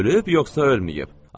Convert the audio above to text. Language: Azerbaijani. Ölüb, yoxsa ölməyib?